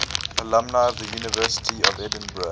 alumni of the university of edinburgh